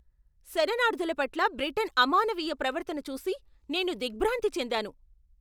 శరణార్ధుల పట్ల బ్రిటన్ అమానవీయ ప్రవర్తన చూసి నేను దిగ్భ్రాంతి చెందాను.